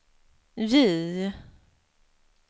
J